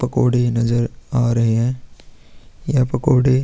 पकोड़े नजर आ रहे हैं यह पकोड़े --